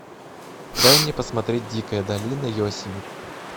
дай мне посмотреть дикая долина йосемити